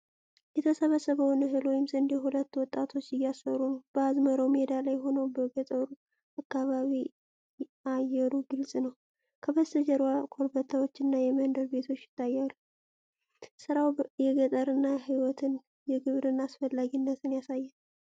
የተሰበሰበውን እህል (ስንዴ) ሁለት ወጣቶች እያሰሩ ነው። በአዝመራው ሜዳ ላይ ሆነው በገጠሩ አካባቢ አየሩ ግልፅ ነው። ከበስተጀርባ ኮረብታዎችና የመንደር ቤቶች ይታያሉ። ሥራው የገጠርን ሕይወትና የግብርና አስፈላጊነት ያሳያል።